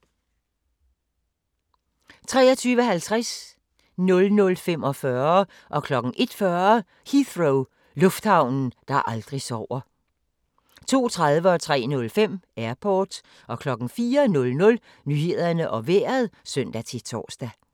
23:50: Heathrow - lufthavnen, der aldrig sover 00:45: Heathrow - lufthavnen, der aldrig sover 01:40: Heathrow - lufthavnen, der aldrig sover 02:30: Airport 03:05: Airport 04:00: Nyhederne og Vejret (søn-tor)